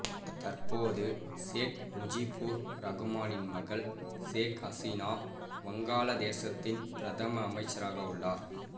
தற்பொது சேக் முஜிபுர் ரகுமானின் மகள் சேக் அசீனா வங்காளதேசத்தின் பிரதம அமைச்சராக உள்ளார்